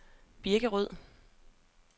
Birkerød